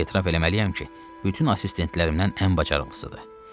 Etiraf eləməliyəm ki, bütün assistentlərimdən ən bacarıqlısıdır.